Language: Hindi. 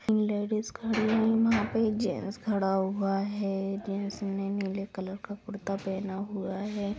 लेडिज खड़ी हुई वहां पे एक जेंट्स खड़ा हुआ है। जेंट्स ने नीले कलर का कुर्ता पहना हुआ है।